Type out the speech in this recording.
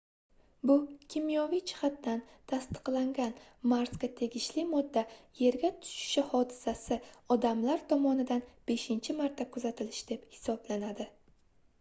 bu kimyoviy jihatdan tasdiqlangan marsga tegishli modda yerga tushishi hodisasi odamlar tomomidan beshincha marta kuzatilishi deb hisoblanadi